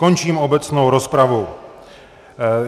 Končím obecnou rozpravu.